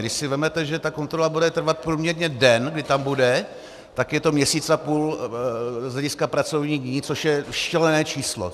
Když si vezmete, že ta kontrola bude trvat průměrně den, kdy tam bude, tak je to měsíc a půl z hlediska pracovních dní, což je šílené číslo.